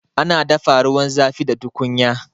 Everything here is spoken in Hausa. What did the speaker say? Ana dafa ruwan zafi da tukunya